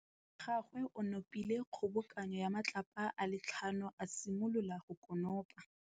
Morwa wa gagwe o nopile kgobokanô ya matlapa a le tlhano, a simolola go konopa.